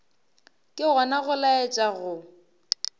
ke gona go laetša go